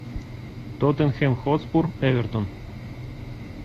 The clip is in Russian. тоттенхэм хотспур эвертон